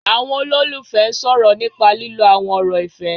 Àwọn olólùfẹ́ ń sọ̀rọ̀ nípa lílo àwọn ọ̀rọ̀ ìfẹ́